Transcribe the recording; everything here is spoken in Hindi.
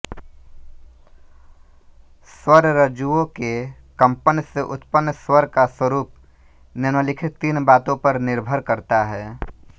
स्वररज्जुओं के कंपन से उत्पन्न स्वर का स्वरूप निम्लिखित तीन बातों पर निर्भर करता है